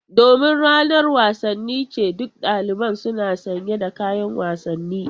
Domin ranar wasanni ce, duk daliban suna sanye da kayan wasanni.